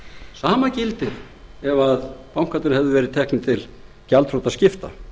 sama gildir ef bankarnir hefðu verið teknir til gjaldþrotaskipta